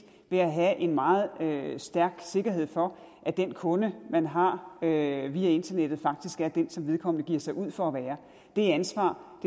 ved at have en meget stærk sikkerhed for at den kunde man har via internettet faktisk er den som vedkommende giver sig ud for at være det ansvar